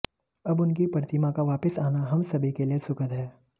अब उनकी प्रतिमा का वापस आना हम सभी के लिए सुखद है